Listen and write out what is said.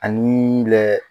Ani